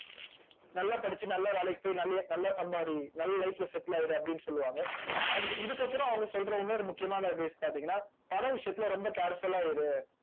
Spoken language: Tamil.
நல்லா படிச்சு நல்ல வேலைக்கு போய் நிறைய நல்லா சம்பாதி நல்ல life ல settle ஆயிடு அப்படின்னு சொல்லுவாங்க and இதுக்கு அப்புறம் அவங்க சொல்ற இன்னொரு முக்கியமான advice பார்த்தீங்கன்னா பணம் விஷயத்துல ரொம்ப careful ஆ இரு.